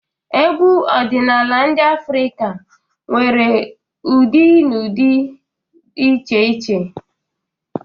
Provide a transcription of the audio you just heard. Egwu ọdịnala Afrịka nwere ụdị na ụdị dị iche iche.